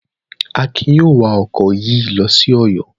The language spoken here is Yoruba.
Akin yóò wa ọkọ̀ yìí lọ sí Ọ̀yọ́.